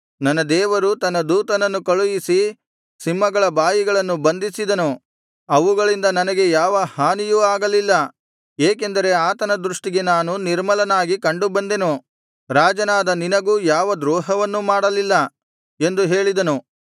ನನ್ನ ದೇವರು ತನ್ನ ದೂತನನ್ನು ಕಳುಹಿಸಿ ಸಿಂಹಗಳ ಬಾಯಿಗಳನ್ನು ಬಂಧಿಸಿದನು ಅವುಗಳಿಂದ ನನಗೆ ಯಾವ ಹಾನಿಯೂ ಆಗಲಿಲ್ಲ ಏಕೆಂದರೆ ಆತನ ದೃಷ್ಟಿಗೆ ನಾನು ನಿರ್ಮಲನಾಗಿ ಕಂಡುಬಂದೆನು ರಾಜನಾದ ನಿನಗೂ ಯಾವ ದ್ರೋಹವನ್ನೂ ಮಾಡಲಿಲ್ಲ ಎಂದು ಹೇಳಿದನು